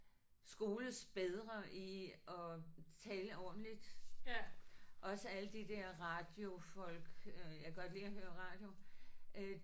Skoles bedre i at tale ordentligt også alle de der radiofolk øh jeg kan godt lide at høre radio øh